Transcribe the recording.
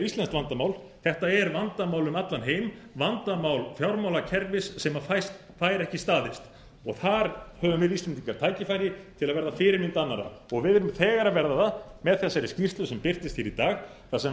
eitthvert séríslenskt vandamál þetta er vandamál um allan heim vandamál fjármálakerfis sem fær ekki staðist og þar höfum við íslendingar tækifæri til að verða fyrirmynd annarra og við erum þegar að verða það með þessari skýrslu sem birtist hér í dag þar sem